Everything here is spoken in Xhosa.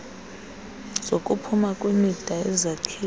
zokuphuma kwimida yezakhiwo